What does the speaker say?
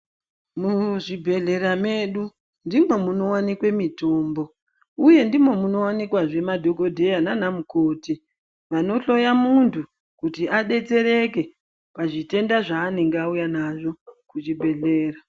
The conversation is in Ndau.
Muzvibhehlera medu ndimwo munowanikwe mitombo uye ndimo munowanikwazve madhokodheya nana mukoti vanohloya muntu kuti adetsereke pazvitenda zvanenge auya nazvo kuzvibhehlera.